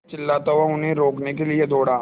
मैं चिल्लाता हुआ उन्हें रोकने के लिए दौड़ा